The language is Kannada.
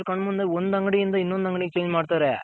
ರೈತ್ರ್ರ್ ಕಣ್ ಮುಂದೇನೆ ಒಂದ್ ಅಂಗಡಿಯಿಂದ ಇನ್ನೊಂದ್ ಅಂಗಡಿಗೆ Change ಮಾಡ್ತಾರೆ.